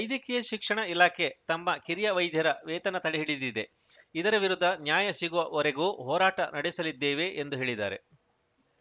ವೈದ್ಯಕೀಯ ಶಿಕ್ಷಣ ಇಲಾಖೆ ತಮ್ಮ ಕಿರಿಯ ವೈದ್ಯರ ವೇತನ ತಡೆ ಹಿಡಿದಿದೆ ಇದರ ವಿರುದ್ಧ ನ್ಯಾಯ ಸಿಗುವವರೆಗೂ ಹೋರಾಟ ನಡೆಸಲಿದ್ದೇವೆ ಎಂದು ಹೇಳಿದ್ದಾರೆ